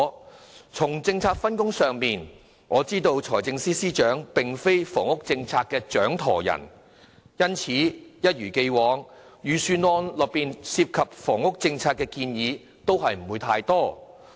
我知道，在政策分工上，財政司司長並非房屋政策的掌舵人，因此一如既往，預算案內涉及房屋政策的建議並不太多。